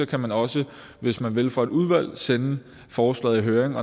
kan man også hvis man vil fra et udvalg sende et forslag i høring